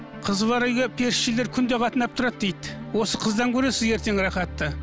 қызы бар үйге періштелер күнде қатынап тұрады дейді осы қыздан көресің ертең рахатты